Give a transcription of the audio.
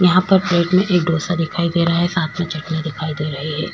यहा पर प्लेट मे एक डोसा दिखाई दे रहा है साथ मे चटणी दिखाई दे रही है।